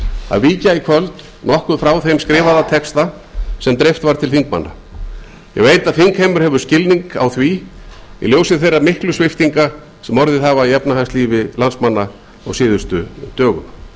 að víkja nokkuð frá þeim skrifaða texta sem dreift var til þingmanna ég veit að þingheimur hefur skilning á því í ljósi þeirra sviptinga sem orðið hafa í efnahagslífi landsmanna á síðustu dögum